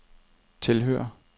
tilhører